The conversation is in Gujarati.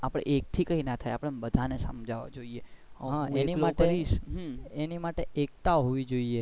આપડે એક થી કઈ ના થાય આપડે બધાને સમજવા જોઈએ એની માટે એકતા હોવી જોઈએ.